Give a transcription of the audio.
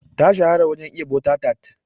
Ta shahara wajen iya butter tart.